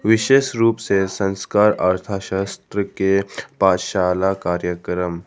विशेष रूप से संस्कार अर्थशास्त्र के पाठशाला कार्यक्रम--